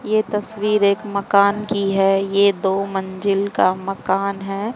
यह तस्वीर एक मकान की है ये दो मंजिल का मकान है।